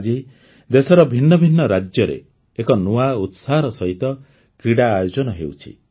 ଆଜି ଦେଶର ଭିନ୍ନ ଭିନ୍ନ ରାଜ୍ୟରେ ଏକ ନୂଆ ଉତ୍ସାହର ସହିତ କ୍ରୀଡ଼ା ଆୟୋଜନ ହେଉଛି